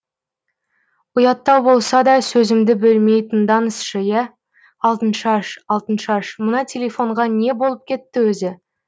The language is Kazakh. ұяттау болса да сөзімді бөлмей тыңдаңызшы иә алтыншаш алтыншаш мына телефонға не болып кетті өзі